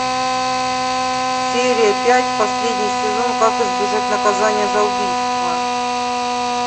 серия пять последний сезон как избежать наказания за убийство